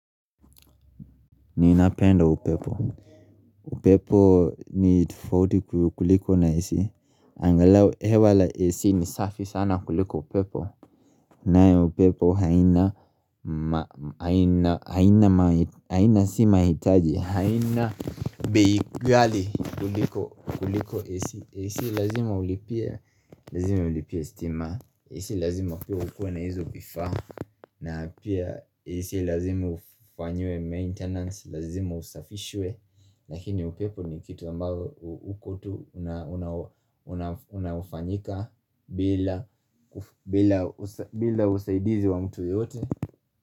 Ni napenda upepo upepo ni tifauti kuliko na ac angalau hewa la ac ni safi sana kuliko upepo nayo upepo haina ma haina haina si mahitaji haina bei ghali kuliko ac ac lazima ulipie lazima ulipie stima ac lazima pia ukue na hizo vifaa na pia ac lazimu ufanyiwe maintenance, lazima usafishwe Lakini upepo ni kitu ambavoo uko tu unaofanyika bila bila usaidizi wa mtu yoyote.